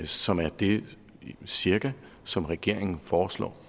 som er det cirka som regeringen foreslår